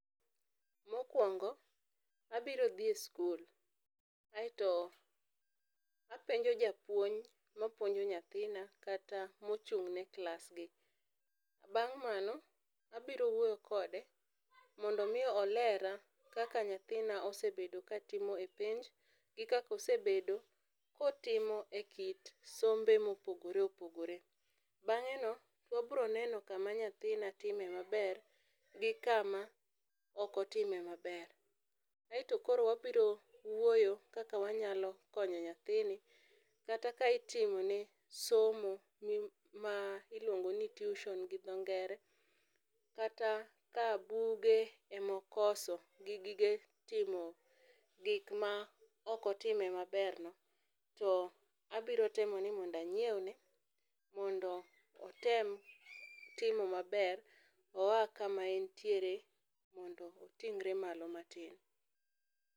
Mokuongo, abiro dhi e skul aito apenjo japuonj ma puonjo nyathina kata ma ochung' ne klas gi. Bang' mano abiro wuoyo kode mondo mi olera kaka nyathina osebedo ka timo e penj gi kaka osebedo ka otimo e kit sombe ma opogore opogore. Bang'e no wabro neno ka ma nyathina time ma ber gi kama ok otime ma ber. Aito koro wabiro wuoyo kaka wanyalo konyo nyathini kata ka itimo ne somo ma iluongo ni tuition gi dho ngere, kata ka buge ema okoso gi gige timo gik ma ok otime ma ber no to abiro temo ni mondo anyiew ne mondo otem timo ma ber oya ka ma en tiere mondo oting're malo ma tin.